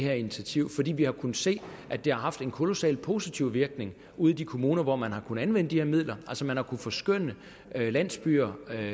her initiativ fordi vi har kunnet se at det har haft en kolossalt positiv virkning ude i de kommuner hvor man kunne anvende de her midler altså man har kunnet forskønne landsbyer